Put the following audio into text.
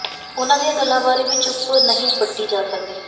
ਉਨ੍ਹਾਂ ਦੀਆਂ ਗੱਲਾਂ ਬਾਰੇ ਵੀ ਚੁੱਪ ਨਹੀਂ ਵੱਟੀ ਜਾ ਸਕਦੀ